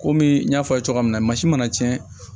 Komi n y'a fɔ a ye cogoya min na mansin mana cɛn